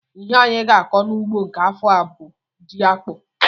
Ihe anyị ga-akọ n'ugbo nke afọ a bụ jiakpụ